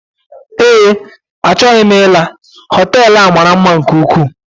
Ee achọghị m ila hotelú a maara mma nke ukwuu.